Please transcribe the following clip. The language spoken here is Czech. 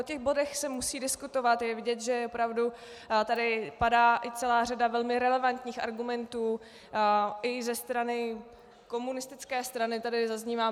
O těch bodech se musí diskutovat, je vidět, že opravdu tady padá i celá řada velmi relevantních argumentů, i ze strany komunistické strany tady zaznívá.